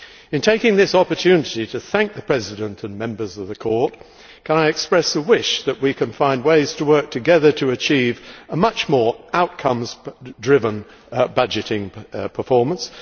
In taking this opportunity to thank the President and members of the Court, can I express a wish that we can find ways to work together to achieve a much more outcome driven budgeting performance